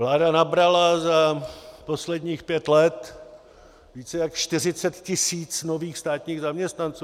Vláda nabrala za posledních pět let více než 40 tisíc nových státních zaměstnanců.